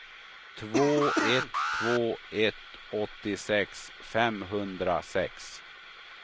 två ett två ett åttiosex femhundrasex